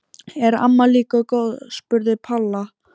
Er amma líka góð? spurði Palla.